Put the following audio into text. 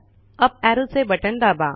up ऍरोचे button दाबा